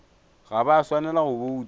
ga ba swanela go bouta